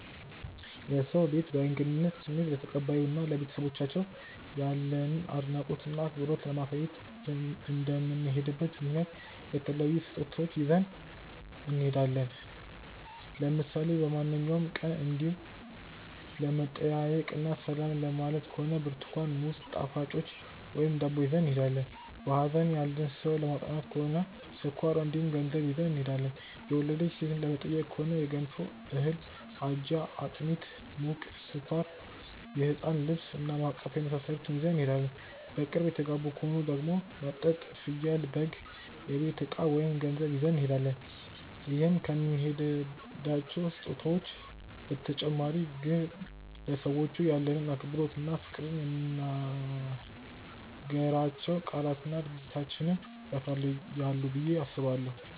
የሰው ቤት በእንግድነት ስንሄድ ለተቀባዩ እና ለቤተሰቦቻቸው ያለንን አድናቆት እና አክብሮት ለማሳየት እንደምንሄድበት ምክንያት የተለያዩ ስጦታዎችን ይዘን እንሄዳለን። ለምሳሌ በማንኛውም ቀን እንዲው ለመጠያየቅ እና ሰላም ለማየት ከሆነ ብርትኳን፣ ሙዝ፣ ጣፋጮች ወይም ዳቦ ይዘን እንሄዳለን። በሀዘን ያለን ሰው ለማፅናናት ከሆነ ስኳር እንዲሁም ገንዘብ ይዘን እንሄዳለን። የወለደች ሴትን ለመጠየቅ ከሆነ የገንፎ እህል፣ አጃ፣ አጥሚት (ሙቅ)፣ስኳር፣ የህፃን ልብስ እና ማቀፊያ የመሳሰሉትን ይዘን እንሄዳለን። በቅርብ የተጋቡ ከሆኑ ደግሞ መጠጥ፣ ፍየል/በግ፣ የቤት እቃ ወይም ገንዘብ ይዘን እንሄዳለን። ይዘን ከምንሄዳቸው ስጦታዎች በተጨማሪ ግን ለሰዎቹ ያለንን አክብሮት እና ፍቅር የምንናገራቸው ቃላትና ድርጊታችንም ያሳያሉ ብዬ አስባለሁ።